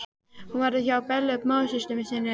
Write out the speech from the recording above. Hún verður hjá Bellu móðursystur sinni, hún.